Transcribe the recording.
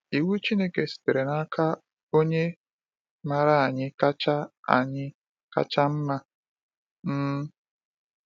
Iwu Chineke sitere n’aka Onye maara anyị kacha anyị kacha mma. um